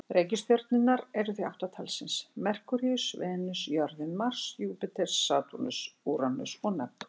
Reikistjörnurnar eru því átta talsins: Merkúríus, Venus, jörðin, Mars, Júpíter, Satúrnus, Úranus og Neptúnus.